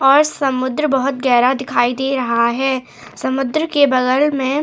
और समुद्र बहुत गहरा दिखाई दे रहा है समुद्र के बगल में --